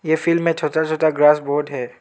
ए field में छोटा छोटा ग्रास बहोत है।